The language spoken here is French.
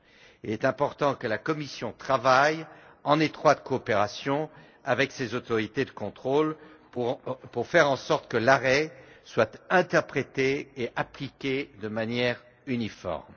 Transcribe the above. Il est important que la Commission travaille en étroite coopération avec ces autorités pour faire en sorte que l'arrêt soit interprété et appliqué de manière uniforme.